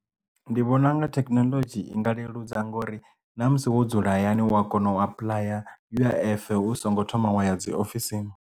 Ndi vhona nga thekinoḽodzhi i nga leludza ngori na musi wo dzula hayani wa kona u apuḽaya U_I_F hu songo thoma wa ya dzi ofisini.